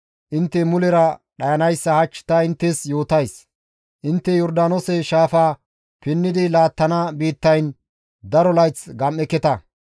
intte mulera dhayanayssa hach ta inttes yootays; intte Yordaanoose shaafa pinnidi laattana biittayn daro layth gam7eketa.